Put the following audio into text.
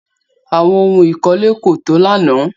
Àwọn ohún ìkọ́lé kò tó lánàá.